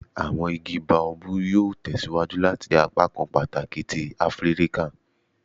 Awọn igi Baobab yoo tẹsiwaju lati jẹ apakan pataki ti Afirika